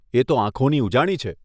એ તો આંખોની ઉજાણી છે.